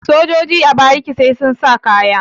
sojoji a bariki sai sun sa kaya